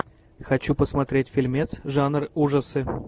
хочу посмотреть фильмец жанр ужасы